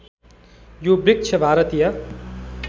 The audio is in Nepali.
यो वृक्ष भारतीय